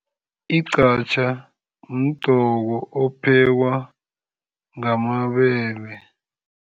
Igqatjha mdoko ophekwa ngamabele.